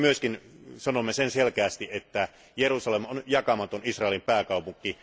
Me myös sanomme selkeästi, että Jerusalem on jakamaton Israelin pääkaupunki.